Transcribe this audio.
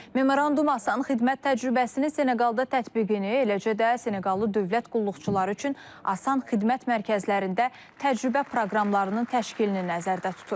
Memorandum Asan xidmət təcrübəsini Seneqalda tətbiqini, eləcə də Seneqallı dövlət qulluqçuları üçün Asan xidmət mərkəzlərində təcrübə proqramlarının təşkilini nəzərdə tutur.